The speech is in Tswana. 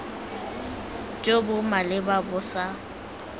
jo bo maleba bo sa